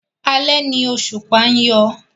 Alẹ́ ni òṣùpá ń yọ.